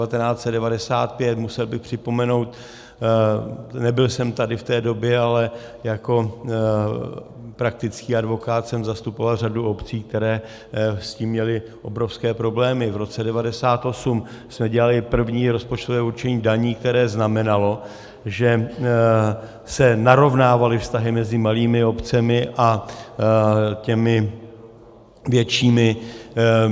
Musel bych připomenout, nebyl jsem tady v té době, ale jako praktický advokát jsem zastupoval řadu obcí, které s tím měly obrovské problémy, v roce 1998 jsme dělali první rozpočtové určení daní, které znamenalo, že se narovnávaly vztahy mezi malými obcemi a těmi většími.